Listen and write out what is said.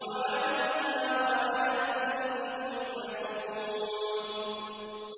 وَعَلَيْهَا وَعَلَى الْفُلْكِ تُحْمَلُونَ